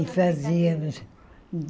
E fazíamos.